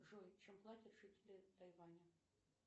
джой чем платят жители тайваня